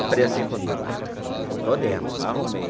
Eu falei assim comigo, ah estou dentro, arrumei.